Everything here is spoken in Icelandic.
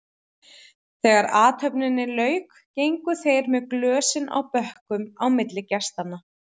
Þegar athöfninni lauk gengu þeir með glösin á bökkum milli gestanna.